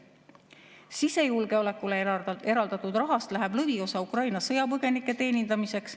Sisejulgeolekule eraldatud rahast läheb lõviosa Ukraina sõjapõgenike teenindamiseks.